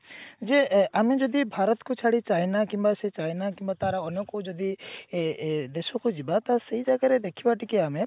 ଯେ ଆମେ ଯଦି ଭାରତ କୁ ଛାଡି ଚାଇନା କିମ୍ବା ସେ ଚାଇନା କିମ୍ବା ତାର ଅନ୍ୟ କୋଉ ଯଦି ଏ ଏ ଦେଶକୁ ଯିବା ତ ସେଇ ଜାଗାରେ ଦେଖିବା ଟିକେ ଆମେ